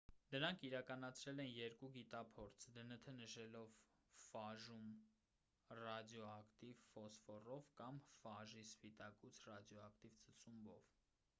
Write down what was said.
նրանք իրականացրել են երկու գիտափորձ դնթ նշելով ֆաժում ռադիոակտիվ ֆոսֆորով կամ ֆաժի սպիտակուց ռադիոկատիվ ծծումբով